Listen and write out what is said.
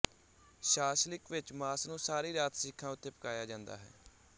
ਸ਼ਾਸ਼ਲਿਕ ਵਿੱਚ ਮਾਸ ਨੂੰ ਸਾਰੀ ਰਾਤ ਸੀਖਾਂ ਉੱਤੇ ਪਕਾਇਆ ਜਾਂਦਾ ਹੈ